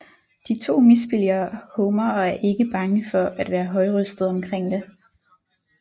De to misbilliger Homer og er ikke bange for at være højrøstede omkring det